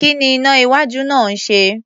Kí ni iná-iwájú náà ń ṣe?